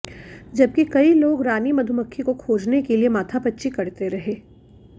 जबकि कई लोग रानी मधुमक्खी को खोजने के लिए माथापच्ची करते रहे